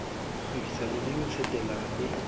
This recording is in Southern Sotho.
kgwebisano le ho tsetela le